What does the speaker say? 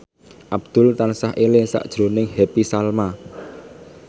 Abdul tansah eling sakjroning Happy Salma